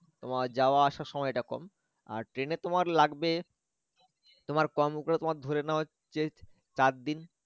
তোমার যাওয়া আসার সময়টা কম আর train এ তোমার লাগবে তোমার কম করে তোমার ধরে নাও যে চারদিন